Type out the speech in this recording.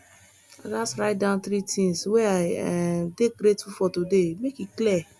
i gats write down three things wey i um dey grateful for today make e clear